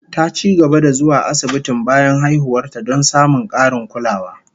Ta ci gaba da zuwa asibitin bayan haihuwar ta, don samun karin kulawa